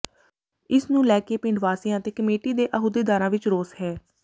ਇਸ ਨੂੰ ਲੈ ਕੇ ਪਿੰਡ ਵਾਸੀਆਂ ਅਤੇ ਕਮੇਟੀ ਦੇ ਅਹੁਦੇਦਾਰਾਂ ਵਿਚ ਰੋਸ ਹੈ